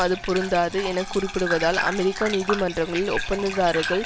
அது பொருந்தாது என குறிப்பிடுவதால் அமெரிக்க நீதிமன்றங்களில் ஒப்பந்ததாரர்கள்